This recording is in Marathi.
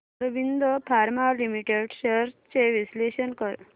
ऑरबिंदो फार्मा लिमिटेड शेअर्स चे विश्लेषण कर